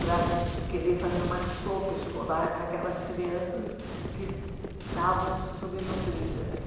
para querer fazer uma sopa escolar para aquelas crianças que estavam subnutridas.